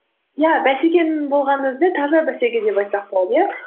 иә бәсекенің болғанның өзінде таза бәсеке деп айтсақ болады иә